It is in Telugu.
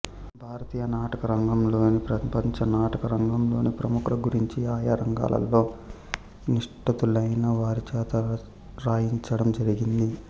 భారతీయ నాటకరంగంలోని ప్రపంచ నాటకరంగంలోని ప్రముఖుల గురించి ఆయా రంగాలలో నిష్ణాతులైన వారిచేత రాయించడం జరిగింది